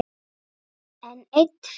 Enn ein firran.